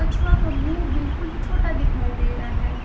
कछुआ का मुंह बिल्कुल छोटा दिखाई दे रहा है।